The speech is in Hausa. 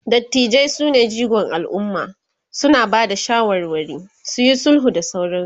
dattijai sune jigon alumma, suna Bada shawarwari, suyi sulhu da sauransu